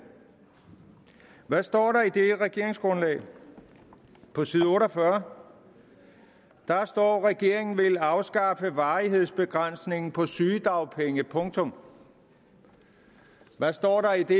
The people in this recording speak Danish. hvad står der i det regeringsgrundlag på side 48 der står at regeringen vil afskaffe varighedsbegrænsningen på sygedagpenge punktum hvad står der i det